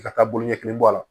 I ka taa bolo ɲɛ kelen bɔ a la